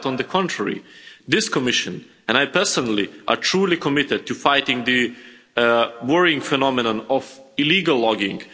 Quite the contrary. This Commission, and I personally, are truly committed to fighting the worrying phenomenon of illegal logging.